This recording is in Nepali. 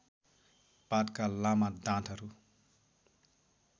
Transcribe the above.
पातका लामा डाँठहरू